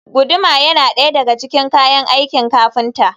Guduma yana ɗaya daga cikin kayan aikin kafinta.